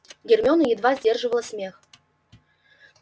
гермиона едва сдерживала смех